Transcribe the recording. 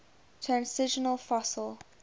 transitional fossil